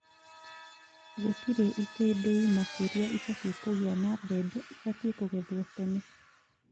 Gũtĩrĩ itindiĩ makĩria ibatie kũgĩa na mbembe ibatie kũgethwo tene